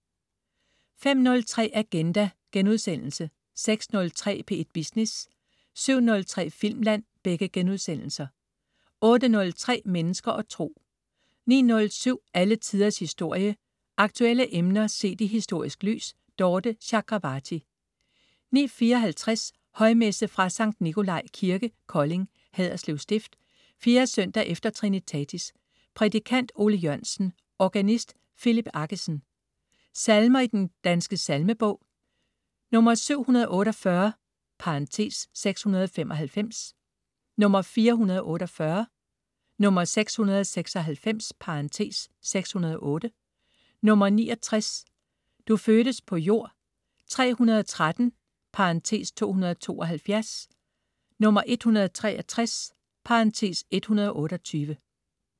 05.03 Agenda* 06.03 P1 Business* 07.03 Filmland* 08.03 Mennesker og Tro 09.07 Alle Tiders Historie. Aktuelle emner set i historisk lys. Dorthe Chakravarty 09.54 Højmesse. Fra Sankt Nicolai Kirke, Kolding (Haderslev Stift). 4. søndag efter trinitatis. Prædikant: Ole Jørgensen. Organist: Philip Aggesen. Salmer i Den Danske Salmebog: 748 (695), 448, 696 (608), 69 "Du fødtes på jord", 313 (272), 163 (128)